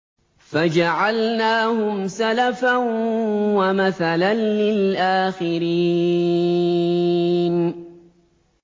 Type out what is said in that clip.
فَجَعَلْنَاهُمْ سَلَفًا وَمَثَلًا لِّلْآخِرِينَ